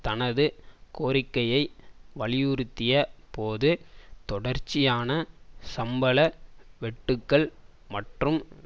தனது கோரிக்கையை வலியுறுத்திய போது தொடர்ச்சியான சம்பள வெட்டுக்கள் மற்றும்